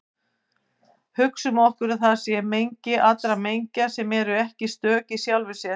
Hugsum okkur að til sé mengi allra mengja sem eru ekki stök í sjálfum sér.